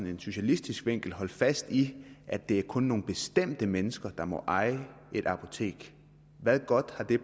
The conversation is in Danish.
en socialistisk vinkel holde fast i at det kun er nogle bestemte mennesker der må eje et apotek hvad godt har det